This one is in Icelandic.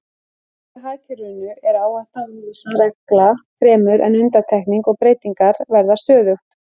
Í nýja hagkerfinu eru áhætta og óvissa regla fremur en undantekning og breytingar verða stöðugt.